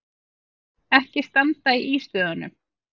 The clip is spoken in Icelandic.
Ekki standa í ístöðunum!